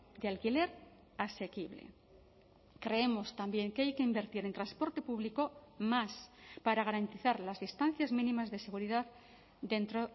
de alquiler asequible creemos también que hay que invertir en transporte público más para garantizar las distancias mínimas de seguridad dentro